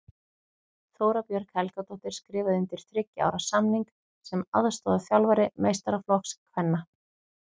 Þóra Björg Helgadóttir skrifaði undir þriggja ára samning sem aðstoðarþjálfari meistaraflokks kvenna.